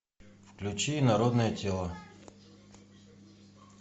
включи инородное тело